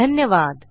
धन्यवाद